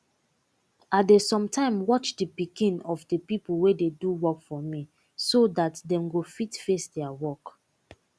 i dey some time watch de pikin of de pipo wey dey do work for me so dat dem go fit face deir work